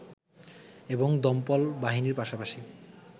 এবং দমকল বাহিনীর পাশাপাশি